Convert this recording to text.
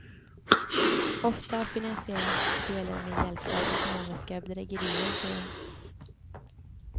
Ofta finansieras spelen med hjälp av ekonomiska bedrägerier, säger hon.